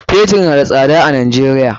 Fetur na da sada a Najeriya.